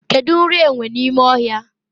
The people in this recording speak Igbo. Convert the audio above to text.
kedu nri enwe n'ime ohia?